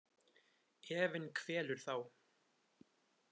Efinn kvelur þá.